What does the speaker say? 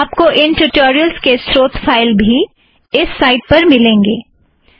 आप को इन ट्युटोरियलस के स्रोत फ़ाइल्स भी इस साइट पर मिलेंगें